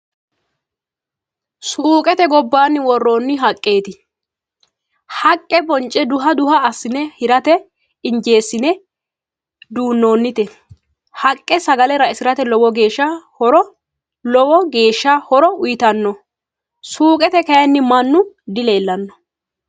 Suuqete gobbaanni worroonni haqqeeti. Haqqe bonce duha duha assine hirate injeessine. duunnoonnite. haqqe sgale raisirate lowo geeshsha horo uyitanno. Suuqete kayinni mannu dileellanno.